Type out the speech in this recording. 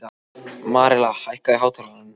Marela, hækkaðu í hátalaranum.